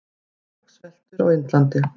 Fólk sveltur á Indlandi.